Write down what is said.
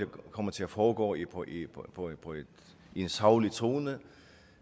kommer til at foregå i en saglig tone